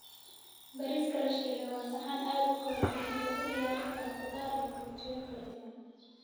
Bariiska la shiilay waa saxan aad u kala duwan oo lagu diyaarin karo khudaar iyo borotiinno kala duwan.